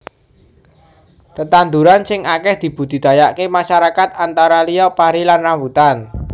Tetandhuran sing akèh dibudidayaaké masyarakat antara liya pari lan rambutan